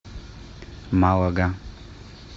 малага